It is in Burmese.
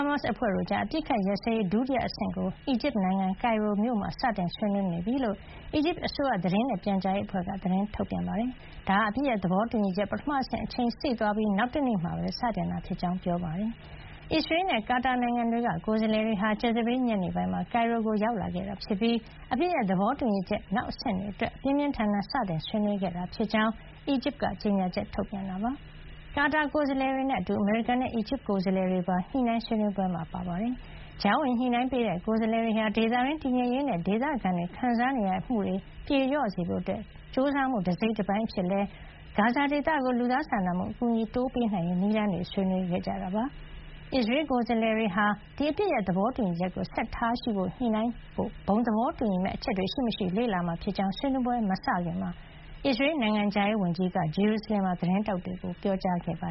မတ်စ် အဖွဲ့တို့ကြား အပစ်အခတ်ရပ်စဲရေး ဒုတိယအဆင့်ကို အီဂျစ်နိုင်ငံ ကိုင်ရိုမြို့မှာ စတင်ဆွေးနွေးနေပြီလို့ အီဂျစ်အစိုးရ သတင်းနဲ့ပြန်ကြားရေးအဖွဲ့က သတင်းထုတ်ပြန်ပါတယ်။ ဒါဟာ အပစ်ရပ်သဘောတူညီချက် ပထမဆင့် အချိန်စေ့သွားပြီး နောက်တနေ့မှာပဲ စတင်ခဲ့တာ ဖြစ်ကြောင်းလည်းပြောပါတယ်။ အစ္စရေးနဲ့ ကာတာနိုင်ငံတွေက ကိုယ်စားလှယ်တွေဟာ ကြာသပတေး ညနေပိုင်းမှာ ကိုင်ရိုကို ရောက်လာခဲ့တာဖြစ်ပြီး အပစ်ရပ် သဘောတူညီချက် နောက်အဆင့်တွေအတွက် ပြင်းပြင်း ထန်ထန် စတင်ဆွေးနွေး ခဲ့ကြတာဖြစ်ကြောင်း အီဂျစ်က ကြေညာချက် ထုတ်ပြန်တာပါ။ ကာတာ ကိုယ်စားလှယ်တွေနဲ့အတူ အမေရိကန်နဲ့ အီဂျစ်က ကိုယ်စားလှယ်တွေပါ ညှိနှိုင်းဆွေးနွေးပွဲမှာ ပါဝင်ခဲ့ပါတယ်။ ကြားဝင်ညှိနှိုင်းပေးတဲ့ ကိုယ်စားလှယ်တွေဟာ ဒေသတွင်း တည်ငြိမ်ရေးနဲ့ ဒေသခံတွေ ခံစားနေရတာတွေ ပြေလျော့စေဖို့ ကြိုးစားမှု တစိတ်တပိုင်းအဖြစ် ဂါဇာဒေသကို လူသားစာနာမှု အကူအညီတွေ တိုးပေးနိုင်ရေး နည်းလမ်းကိုပါ ဆွေးနွေးခဲ့ကြပါတယ်။ အစ္စရေး ကိုယ်စားလှယ်တွေဟာ ဒီအပစ်ရပ်သဘောတူညီချက်ကို ဆက်လက် ထားရှိရေး အတွက် ညှိနှိုင်းဖို့ ဘုံသဘောတူညီမယ့် အချက်တွေ ရှိမရှိ လေ့လာမှာဖြစ်ကြောင်း ဆွေးနွေးပွဲတွေ မစခင်က အစ္စရေး နိုင်ငံခြားရေးဝန်ကြီး Gideon Saar က ဂျေရူဆလင်မှာ သတင်းထောက်တွေကို ပြောကြားခဲ့တာပါ